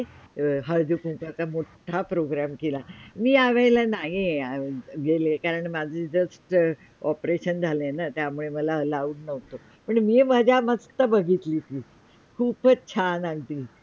हाळदीकुंकचा मोठ्ठा प्रोग्राम केला, मी या वेळेला नाही गेले कारण माझ just operation झालंय न त्यामुळ मला aloud नव्हतं पण मी मजा मस्त बघितली खूपच छान